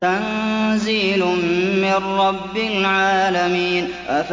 تَنزِيلٌ مِّن رَّبِّ الْعَالَمِينَ